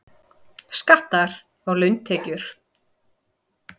Skattar á launatekjur